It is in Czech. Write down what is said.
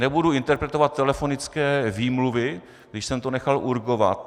Nebudu interpretovat telefonické výmluvy, když jsem to nechal urgovat.